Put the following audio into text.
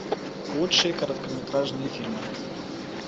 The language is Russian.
лучшие короткометражные фильмы